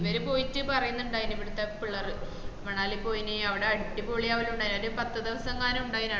ഇവര് പോയിറ്റ് പറയുന്നുണ്ടയ്‌ന ഇവിടുത്ത പിള്ളേർ മണാലി പോയിന് അവട അടിപൊളി പോല ഉണ്ടയിന എന്നിട്ട് പത്ത്‌ ദേവസങ്ങാൻ ഉണ്ടായ്ന് ആട